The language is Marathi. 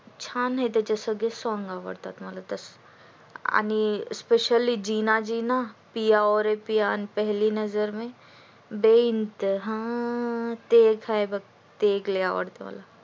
छान आहे त्याचे सगळेच song आवडतात मला आणि specially जिना जिना पिया ओ रे पिया आणि पहली नजर मे बेईनतहा ते एक आहे बघ ते आवडत मला